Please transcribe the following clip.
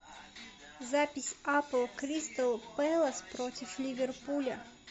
запись апл кристал пэлас против ливерпуля